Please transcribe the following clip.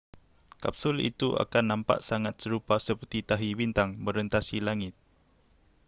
kapsul itu akan nampak sangat serupa seperti tahi bintang merentasi langit